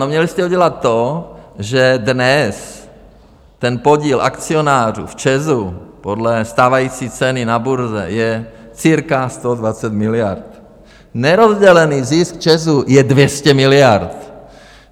No, měli jste udělat to, že dnes ten podíl akcionářů v ČEZu podle stávající ceny na burze je cirka 120 miliard, nerozdělený zisk ČEZu je 200 miliard.